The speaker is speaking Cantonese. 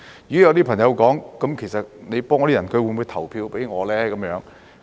如果有些朋友說，你幫助那些人，他們會否投票給你？